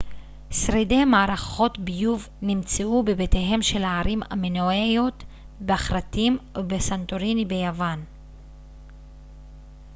שרידי מערכות ביוב נמצאו בבתיהם של הערים המינואיות בכרתים ובסנטוריני ביוון